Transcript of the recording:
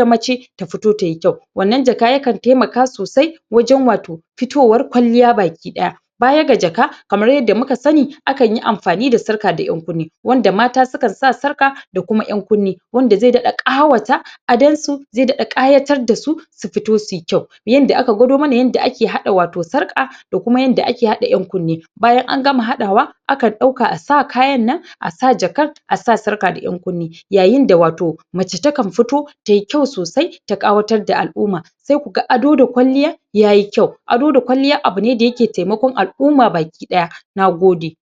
fita wato wuraren daya shafi Akai ziyara A wuraren da ya shafi Wurin shaƙatawa Kama daga kan wuraren na fiƙira na wato barkonci Wanda za'a bada labari Wanda zai faranta ma mutane rai Yanda mutane zasu kasance cikin farin ciki Duk da ire ire wandanan ayuka Akan yi sune bayan dawowa daga wurin aiki Kuma sukan nishaɗantar Sukan sa mutum cikin farin ciki Na gode